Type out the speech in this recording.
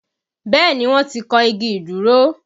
Bẹ́ẹ̀ni, wọ́n ti kan igi ìdúró